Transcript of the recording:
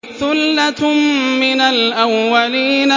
ثُلَّةٌ مِّنَ الْأَوَّلِينَ